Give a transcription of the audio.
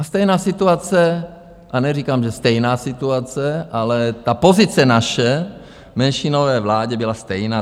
A stejná situace, a neříkám, že stejná situace, ale ta pozice naše v menšinové vládě byla stejná.